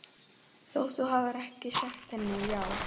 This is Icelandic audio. Þótt þú hafir ekki sagt henni- já